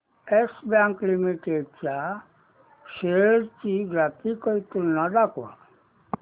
yes Bank limited च्या shares ची graphical तुलना दाखव